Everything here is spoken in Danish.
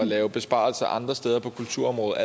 lave besparelser andre steder på kulturområdet